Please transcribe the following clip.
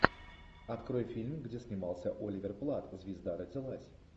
открой фильм где снимался оливер платт звезда родилась